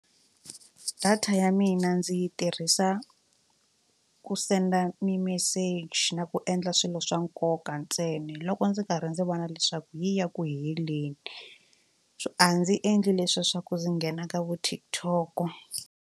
Data ya mina ndzi yi tirhisa ku send-a mimeseji na ku endla swilo swa nkoka ntsena loko ndzi karhi ndzi vona leswaku yi ya ku heleni so a ndzi endli leswiya swa ku ndzi nghena ka vo TikTok.